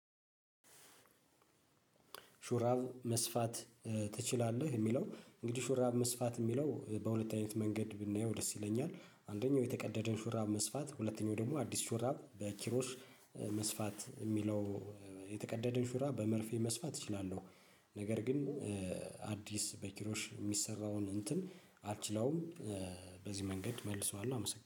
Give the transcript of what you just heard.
ሹራብ መስፋት ትችላለህ የሚለው እንግዲህ ሹራብ መስፋት የሚለው በሁለተኛው መንገድ ብናየው ደስ ይለኛል አንደኛው የተቀደደን ሹራብ መስፋት ሁለተኛው ደግሞ አዲስ ሹራብ በኪሮሽ መስፋት የሚለው የተቀደደን ሹራብ በመርፌ መስፋት እችላለሁ። ነገር ግን አዲስ በኪሮሽ የሚሰራውን እንትን አልችለውም። በዚህ መንገድ መልሷዋለሁ አመሰግናለሁ